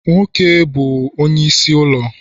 Nwoke bu Onye n'isi ulo